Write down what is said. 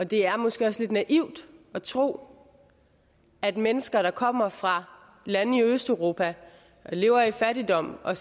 det er måske også lidt naivt at tro at mennesker der kommer fra lande i østeuropa og som lever i fattigdom og